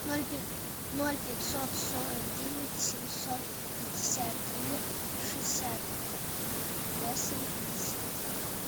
ноль пятьсот сорок девять семьсот пятьдесят три шестьдесят восемь пятьдесят